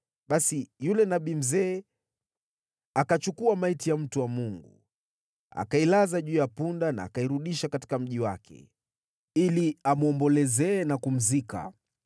Basi yule nabii mzee akachukua maiti ya mtu wa Mungu, akailaza juu ya punda na akairudisha katika mji wake, ili amwombolezee na kumzika.